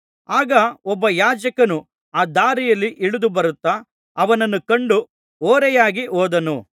ಆಗ ಒಬ್ಬ ಯಾಜಕನು ಆ ದಾರಿಯಲ್ಲಿ ಇಳಿದುಬರುತ್ತಾ ಅವನನ್ನು ಕಂಡು ಓರೆಯಾಗಿ ಹೋದನು